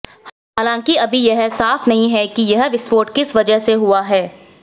हालांकि अभी यह साफ नहीं है कि यह विस्फोट किस वजह से हुआ है